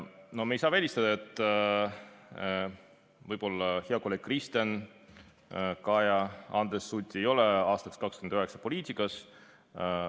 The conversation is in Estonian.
No me ei saa välistada seda, et head kolleegid Kristen, Kaja või Andres Sutt ei ole aastal 2029 poliitikas.